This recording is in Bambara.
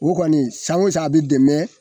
O kɔni san o san be dɛmɛ